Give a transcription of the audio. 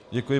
Děkuji.